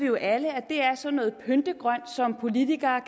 jo alle at det er sådan noget pyntegrønt som politikere